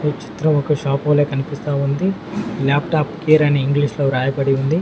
ఈ చిత్రం ఒక షాపు వొలే కనిపిస్తా ఉంది లాప్టాప్ కేర్ అని ఇంగ్లీష్ లో రాయబడి ఉంది.